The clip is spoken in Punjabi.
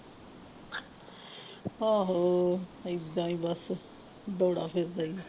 ਆਹੋ ਏਦਾਂ ਹੀ ਬਸ ਬੜਾ ਫਿਰਦਾ ਹੀ